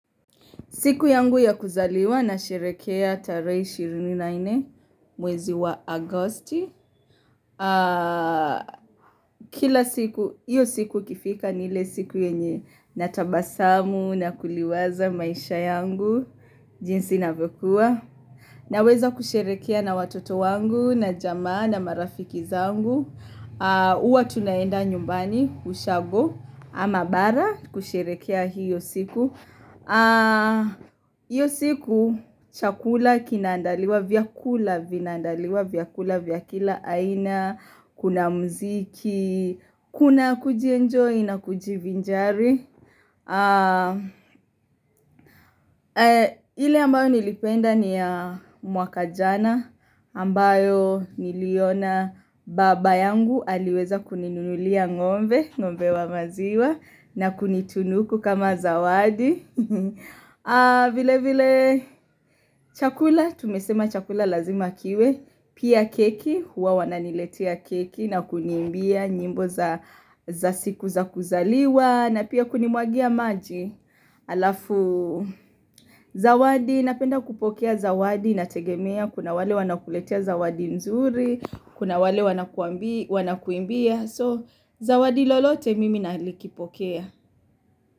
Siku yangu ya kuzaliwa nasherekea tarehe ishirini na nne mwezi wa Agosti. Kila siku, hiyo siku ikifika ni ile siku yenye natabasamu na kuliwaza maisha yangu. Jinsi inavyokuwa. Naweza kusherekea na watoto wangu na jamaa na marafiki zangu. Huwa tunaenda nyumbani, ushago ama bara kusherekea hiyo siku. Hiyo siku chakula kinaandaliwa, vyakula vinaandaliwa, vyakula vya kila aina Kuna muziki, kuna kujienjoy na kujivinjari ile ambayo nilipenda ni ya mwaka jana ambayo niliona baba yangu aliweza kuninulia ng'ombe. Ng'ombe wa maziwa na kunitunuku kama zawadi vile vile chakula, tumesema chakula lazima kiwe Pia keki, huwa wananiletia keki na kuniimbia nyimbo za siku za kuzaliwa, na pia kunimwagia maji Halafu zawadi, napenda kupokea zawadi integemea. Kuna wale wanakuletea zawadi nzuri. Kuna wale wanakuimbia. So, zawadi lolote mimi nalikipokea.